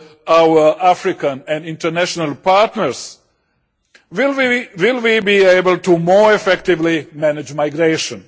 our African and international partners, will we be able to more effectively manage migration.